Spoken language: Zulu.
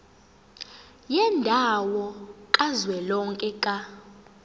yendawo kazwelonke ka